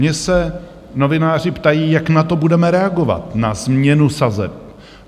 Mě se novináři ptají, jak na to budeme reagovat, na změnu sazeb.